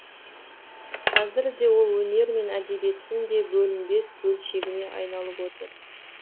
қазірде ол өнер мен әдебиеттің де бөлінбес бөлшегіне айналып отыр